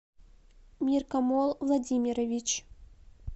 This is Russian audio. миркамол владимирович